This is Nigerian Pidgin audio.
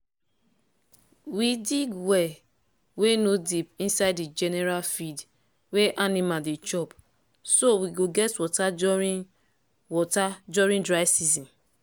we dig well wey no deep inside the general field wey animal dey chop so we go get water during water during dry season